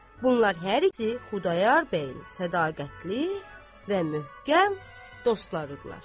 Bunlar hər ikisi Xudayar bəyin sədaqətli və möhkəm dostları idilər.